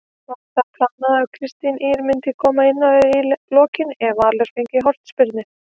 Var það planað að Kristín Ýr myndi koma inná í lokin ef Valur fengi hornspyrnu?